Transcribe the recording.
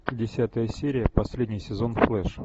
десятая серия последний сезон флэш